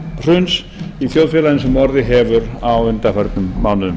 stjórnmálahruns í þjóðfélaginu sem orðið hefur á undanförnum mánuðum